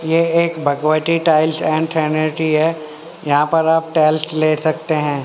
ये एक Bhagwati tiles and है यहां पर आप टेल्स ले सकते है।